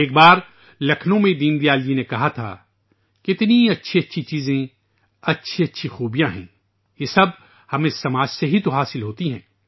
ایک بار لکھنؤ میں ، دین دیال جی نے کہا تھا "کتنی اچھی اچھی چیزیں ، اچھی اچھی خوبیاں ہیں یہ سب ہمیں معاشرے سے ہی توحاصل ہوتی ہیں